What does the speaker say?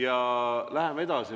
Ja läheme edasi.